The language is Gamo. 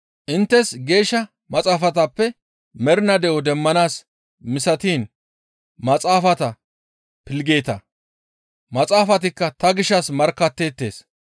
Inttes Geeshsha Maxaafatappe mernaa de7o demmanaas misatiin maxaafata pilggeeta; maxaafatikka ta gishshas markkatteettes.